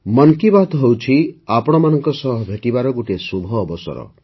ମନ୍ କି ବାତ୍ ହେଉଛି ଆପଣମାନଙ୍କ ସହ ଭେଟିବାର ଗୋଟିଏ ଶୁଭ ଅବସର